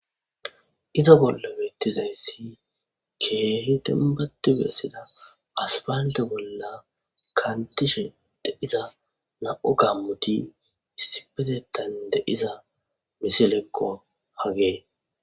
Iza bolla beettizayssi ke hiten battu bersida aspande bolla kantishe de iza na7o gammuti issi petetan de iza misilekko hagee.